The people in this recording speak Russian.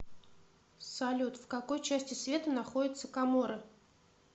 салют в какой части света находится коморы